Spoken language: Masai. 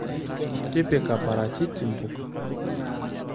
Tipika parachichi mbuka.